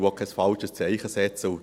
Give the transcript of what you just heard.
Ich setze auch kein falsches Zeichen.